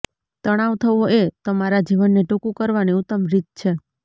તણાવ થવો એ તમારા જીવનને ટૂંકું કરવાની ઉત્તમ રીત છે